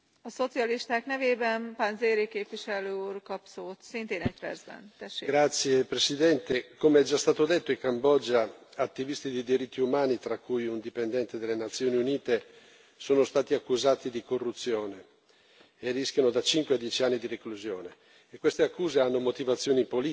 Signora Presidente, onorevoli colleghi, come è già stato detto, in Cambogia attivisti dei diritti umani, tra cui un dipendente delle Nazioni Unite, sono stati accusati di corruzione e rischiano da cinque a dieci anni di reclusione. Queste accuse hanno motivazioni politiche e rappresentano un inasprimento